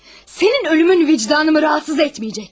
Sənin ölümün vicdanımı narahat etməyəcək.